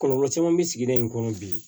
Kɔlɔlɔ caman bɛ sigida in kɔnɔ bi